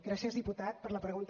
gràcies diputat per la pregunta